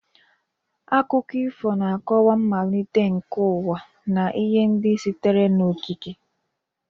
Akụkọ ifo na-akọwa mmalite nke ụwa na ihe ndị sitere n'okike.